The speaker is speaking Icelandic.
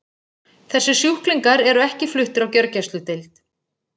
Þessir sjúklingar eru ekki fluttir á gjörgæsludeild.